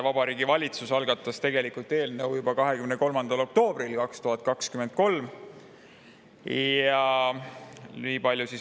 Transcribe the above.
Vabariigi Valitsus algatas eelnõu juba 23. oktoobril 2023.